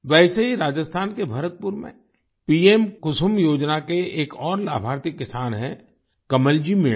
वैसे ही राजस्थान के भरतपुर में पीएम कुसुम योजना के एक और लाभार्थी किसान हैं कमलजी मीणा